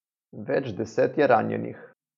Več deset je ranjenih.